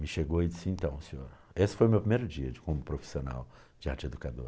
Me chegou e disse, então, senhor, esse foi o meu primeiro dia como profissional de arteeducador.